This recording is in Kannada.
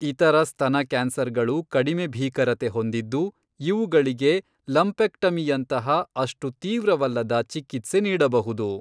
ಇತರ ಸ್ತನ ಕ್ಯಾನ್ಸರ್ಗಳು ಕಡಿಮೆ ಭೀಕರತೆ ಹೊಂದಿದ್ದು ಇವುಗಳಿಗೆ ಲಂಪೆಕ್ಟಮಿಯಂತಹ ಅಷ್ಟು ತೀವ್ರವಲ್ಲದ, ಚಿಕಿತ್ಸೆ ನೀಡಬಹುದು.